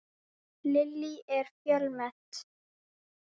Lillý, er fjölmennt?